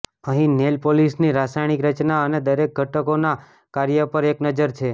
અહીં નેઇલ પોલિશની રાસાયણિક રચના અને દરેક ઘટકોના કાર્ય પર એક નજર છે